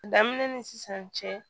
Daminɛ ni sisan cɛ